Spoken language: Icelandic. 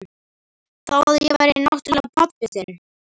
Þó að ég væri náttúrlega pabbinn.